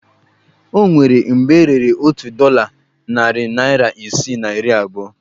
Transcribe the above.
O nwere mgbe e rere otu dọla narị naira isii na iri abụọ